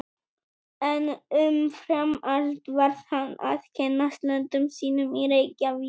En umfram allt varð hann að kynnast löndum sínum í Reykjavík.